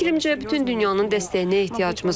Fikrimcə, bütün dünyanın dəstəyinə ehtiyacımız var.